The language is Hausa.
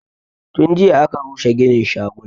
Tun jiya aka rushe ginin shagunan